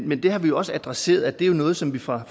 men det har vi jo også adresseret det er noget som vi fra